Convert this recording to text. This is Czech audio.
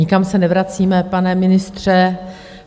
Nikam se nevracíme, pane ministře.